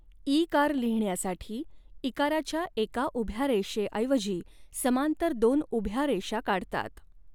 ईकार लिहिण्यासाठी इकाराच्या एका उभ्या रेषेऐवजी समांतर दोन उभ्या रेषा काढतात.